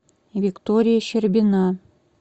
виктория щербина